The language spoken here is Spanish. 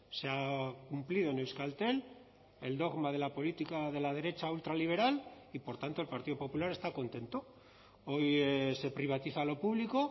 se ha cumplido en euskaltel el dogma de la política de la derecha ultraliberal y por tanto el partido popular está contento hoy se privatiza lo público